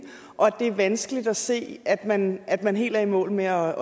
og det er vanskeligt at se at man at man helt er i mål med at